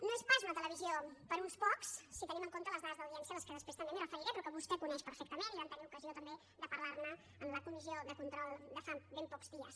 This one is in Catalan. no és pas una televisió per a uns pocs si tenim en compte les dades d’audiència a què després també em referiré però que vostè coneix perfectament i vam tenir ocasió també de parlar ne en la comissió de control de fa ben pocs dies